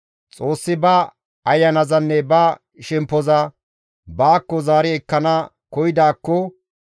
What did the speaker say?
Xoossi ba ayanazanne ba shemppoza; baakko zaari ekkana koyidaakko,